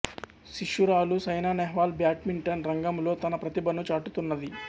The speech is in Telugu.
శిష్యురాలు సైనా నెహ్వాల్ బ్యాడ్మింటన్ రంగములో తన ప్రతిభను చాటుతున్నది